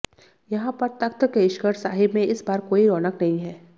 यहां पर तख्त केशगढ़ साहिब में इस बार कोई रौनक नहीं है